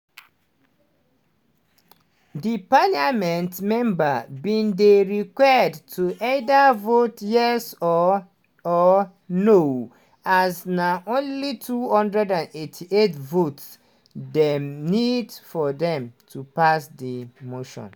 di parliament members bin dey required to either vote yes or or no as na only 288 votes dem need for dem to pass di motion.